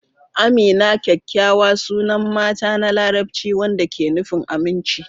Amina kyakkyawa sunan mata na Larabci wanda ke nufin "aminci."